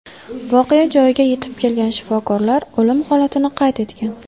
Voqea joyiga yetib kelgan shifokorlar o‘lim holatini qayd etgan.